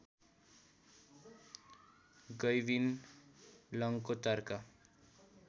Gavin लन्गको तर्क